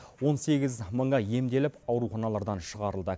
он сегіз мыңы емделіп ауруханалардан шығарылды